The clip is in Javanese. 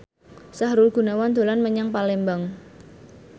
Sahrul Gunawan dolan menyang Palembang